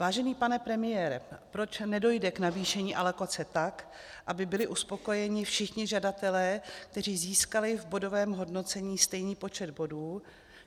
Vážený pane premiére, proč nedojde k navýšení alokace tak, aby byli uspokojeni všichni žadatelé, kteří získali v bodovém hodnocení stejný počet bodů?